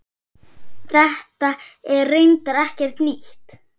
Þetta er reyndar ekkert nýtt.